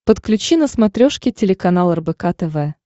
подключи на смотрешке телеканал рбк тв